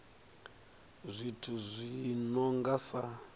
zwithu zwi no nga sa